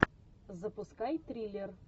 запускай триллер